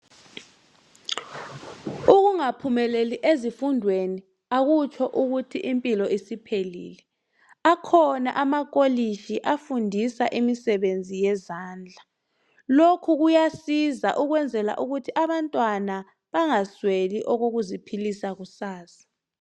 Ukungaphumeleli ezifundweni akutsho ukuthi impilo isiphelile, akhona amakolitshi afundisa imisebenzi yezandla lokhu kuyasiza ukwenzela ukuthi abantwana bangasweli okokuziphilisa kusasa.